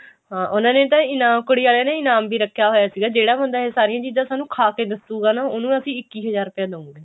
ਹਾਂ ਉਹਨਾ ਨੇ ਤਾਂ ਕੁੜੀ ਆਲਿਆਂ ਨੇ ਇਨਾਮ ਵੀ ਰੱਖਿਆ ਹੋਇਆ ਸੀਗਾ ਜਿਹੜਾ ਬੰਦਾ ਇਹ ਸਾਰੀਆਂ ਚੀਜ਼ਾਂ ਸਾਨੂੰ ਖਾ ਕੇ ਦੱਸੂਗਾ ਉਹਨੂੰ ਅਸੀਂ ਇੱਕੀ ਹਜ਼ਾਰ ਰੁਪਏ ਦਵਾਂਗੇ